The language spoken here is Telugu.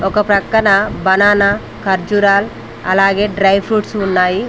ఒక ప్రక్కన బనానా ఖర్జూరాలు అలాగే డ్రై ఫ్రూట్స్ ఉన్నాయి.